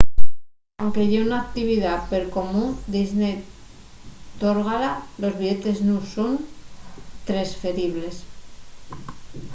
anque ye una actividá percomún disney tórgala los billetes nun son tresferibles